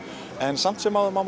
en samt sem áður má